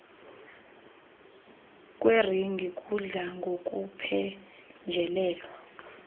kweringi kudla ngokuphenjelelwa